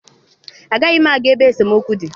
Agaghị m aga ebe esemokwu dị.